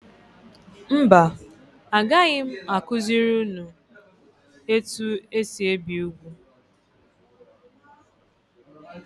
Mba agaghị m akuziri ụnụ etu esị ebi úgwú.